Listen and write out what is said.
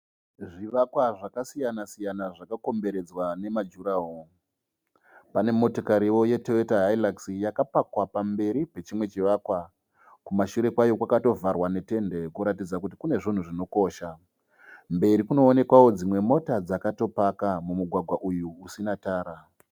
Zvivakwa zvakasiyana siyana zvakakomberedzwa nemajuraho. Pane motokario yeToyota Hilux yakapakwa pamberi pechimwe chivakwa. Kumashure kwayo kwakatovharwa netende kuratidza kuti kune zvinhu zvinokosha. Mberi kunoonekwao dzimwe mota dzakatopaka mumugwagwa uyu usina tara.